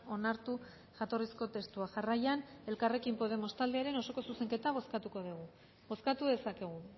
onartu jatorrizko testua jarraian elkarrekin podemos taldearen osoko zuzenketa bozkatuko dugu bozkatu dezakegu